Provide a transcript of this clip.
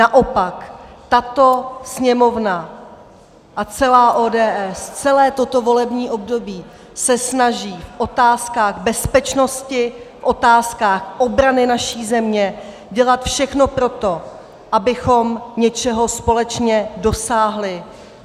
Naopak tato Sněmovna a celá ODS celé toto volební období se snaží v otázkách bezpečnosti, v otázkách obrany naší země dělat všechno pro to, abychom něčeho společně dosáhli.